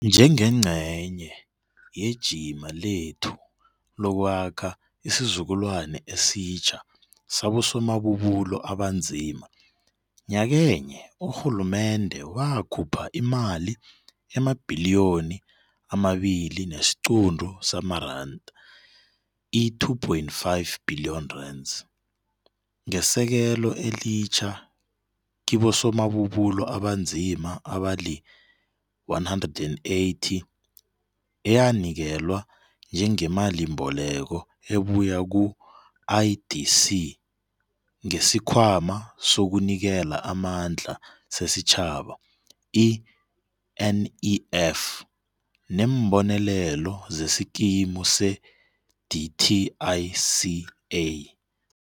Njengengcenye yejima lethu lokwakha isizukulwani esitjha sabosomabubulo abanzima, nyakenye urhulumende wakhupha imali emaBhiliyoni amaBili nesiQuntu samaRanda, i-R2.5 Billion, ngesekelo elitjha kibosomabubulo abanzima abali-180 eyanikelwa njengemalimboleko ebuya ku-IDC ngesiKhwama sokuNikela amaNdla sesiTjhaba, i-NEF, neembonelelo zeskimu se-DTICA.